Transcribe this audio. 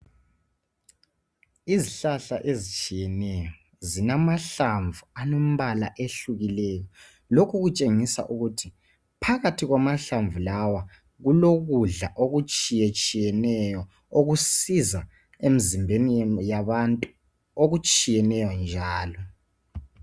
Izihlahla ezitshiyeneyo zilamahlamvu alembala ehlukeneyo. Lokhu kutshengisa ukuthi phakathi kwamahlamvu lawa, kulokudla okutshiyetshiyeneyo okusiza emzimbeni yabantu okutshiyeneyo njalo.